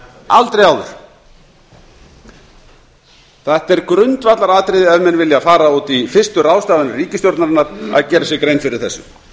aldrei áður þetta er grundvallaratriði ef menn vilja fara út í fyrstu ráðstafanir ríkisstjórnarinnar að gera sér grein fyrir þessu